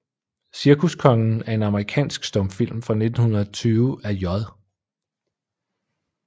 Cirkuskongen er en amerikansk stumfilm fra 1920 af J